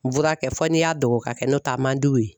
N fura kɛ fɔ n'i y'a dɔgɔ ka kɛ n'o tɛ a man di u ye